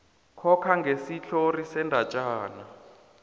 coca ngesitlhori sendatjana